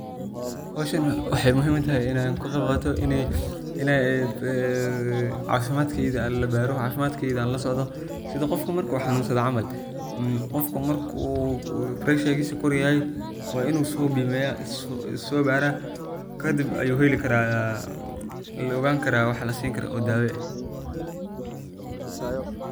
Xowshaan waxay muxiim itaxay, ina kagebgato inay ee cafimadkeyga labaro, cafimadkeyga lasocdo, sidha gofka marku xanunsado camal, gofka marku pressure kor yaxay wa inu soobimiya, isasobara kadib ayu xelikara, laogani kara waxa lasinikaro.